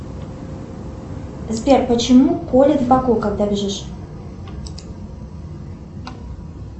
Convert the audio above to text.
сбер почему колит в боку когда бежишь